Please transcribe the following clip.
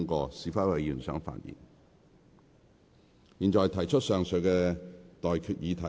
我現在向各位提出上述待決議題。